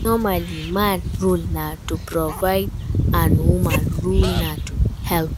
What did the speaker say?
Normally man role na to provide and woman role na to help